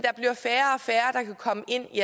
komme ind i